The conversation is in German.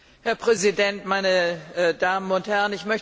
Herr Präsident, meine Damen und Herren!